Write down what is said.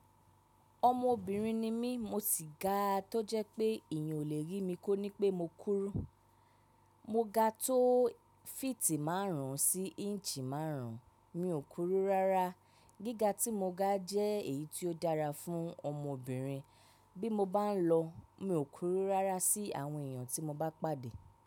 Ọmọbìnrin ni mí, mo sì ga tó jẹ́ pé èèyàn ò le rí mi kó ní pé mo kúrú. Mo ga tó fíìtì márùn ún sí íǹṣì márùn ún, mi ò kúrú rárá. Gíga tí mo ga jẹ́ èyí tí ó dára fún ọmọbìnrin. Bí mo bá ń lọ, mi ò kúrú rárá sí àwọn èèyàn tí mo bá pàdé.